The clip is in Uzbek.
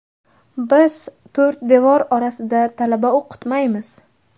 Biz to‘rt devor orasida talaba o‘qitmaymiz”.